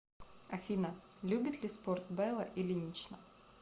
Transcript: афина любит ли спорт белла ильинична